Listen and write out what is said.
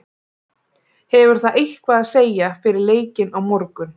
Hefur það eitthvað að segja fyrir leikinn á morgun?